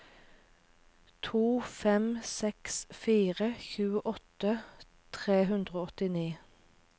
to fem seks fire tjueåtte tre hundre og åttini